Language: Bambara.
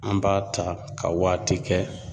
An b'a ta ka waati kɛ